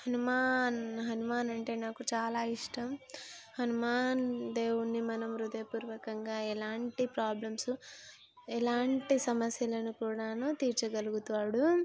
హనుమాన్ హనుమాన్ అంటే నాకు చాలా ఇష్టం. హనుమాన్ దేవుణ్ణి మనం హృదయ పూర్వకంగా ఎలాంటి ప్రాబ్లమ్స్ ఎలాంటి సమస్యలను కూడాను తీర్చగలుగుతాడు .